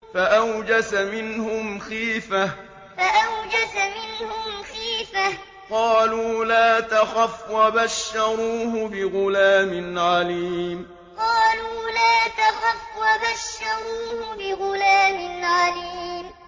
فَأَوْجَسَ مِنْهُمْ خِيفَةً ۖ قَالُوا لَا تَخَفْ ۖ وَبَشَّرُوهُ بِغُلَامٍ عَلِيمٍ فَأَوْجَسَ مِنْهُمْ خِيفَةً ۖ قَالُوا لَا تَخَفْ ۖ وَبَشَّرُوهُ بِغُلَامٍ عَلِيمٍ